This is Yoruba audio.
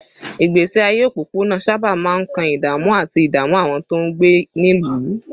Ìgbésí ayé òpópónà sábà máa ń kan ìdààmú àti ìdààmú àwọn tó ń gbé nílùú